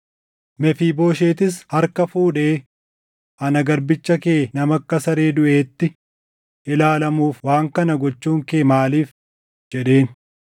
Mefiibooshetis harka fuudhee, “Ana garbicha kee nama akka saree duʼeetti ilaalamuuf waan kana gochuun kee maaliif?” jedheen.